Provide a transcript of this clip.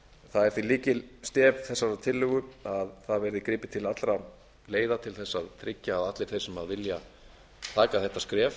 það er því lykilstef þessarar tillögu að gripið verði til allra leiða til að tryggja að allir þeir sem vilja taka þetta skref